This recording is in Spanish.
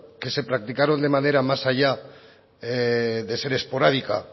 que se practicaron de manera más allá de ser esporádica